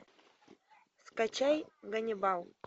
скачай ганнибал